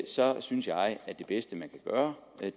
så synes jeg at det bedste man kan gøre